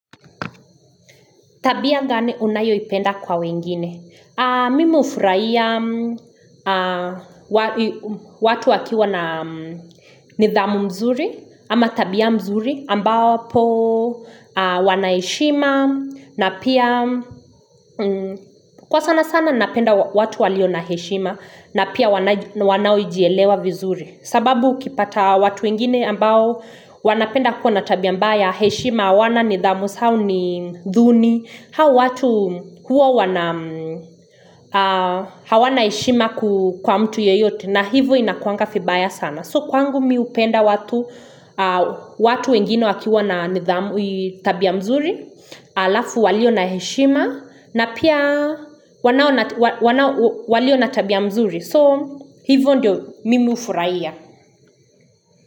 Tabia gani unayoipenda kwa wengine? Mimi hufuraia watu wakiwa na nidhamu mzuri, ama tabia mzuri ambapo wanaeshima na pia, kwa sana sana napenda watu walio na heshima na pia wanaoijelewa vizuri. Sababu ukipata watu wengine ambao wanapenda kwa na tabia mbaya heshima hawana nidhamu zao ni duni, Hawa watu huwa wana hawana heshima kwa mtu yeyote na hivyo inakuwanga vibaya sana. So kwangu mimu hupenda watu, watu wengine wakiwa na nidhamu tabia mzuri, alafu walio na heshima na pia wanao walio na tabia mzuri. So hivyo ndio mimi hufurahia.